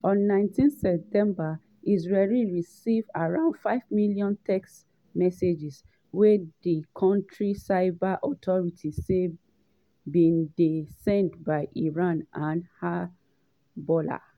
on 19 september israelis receive around five million text messages wey di kontri cyber authorities say bin dey sent by iran and hezbollah.